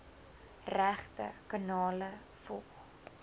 regte kanale volg